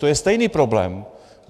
To je stejný problém.